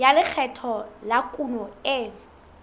ya lekgetho la kuno e